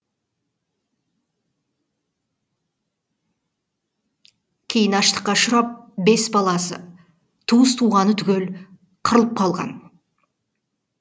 кейін аштыққа ұшырап бес баласы туыс туғаны түгел қырылып қалған